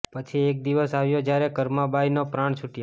પછી એક દિવસ આવ્યો જ્યારે કર્મા બાઈ ના પ્રાણ છૂટ્યા